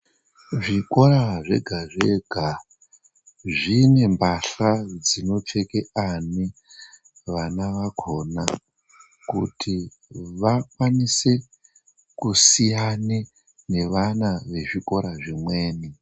Zvikora zvega zvega, zvine mbahla dzinopfeke ani, vana vakhona kuti vakwanise kusiyane nevana vezvikora zvimweni.